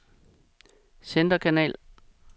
centerkanal